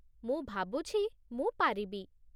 ମୁଁ ଭାବୁଛି, ମୁଁ ପାରିବି।